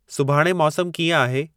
सुभाणे मौसमु कीअं आहे